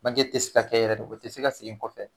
Banke tɛ se ka kɛ yɛrɛ de o tɛ se ka segin kɔfɛ.